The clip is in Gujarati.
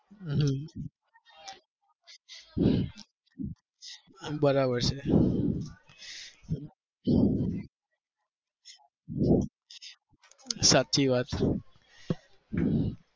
હમ બરાબર છે સાચી વાત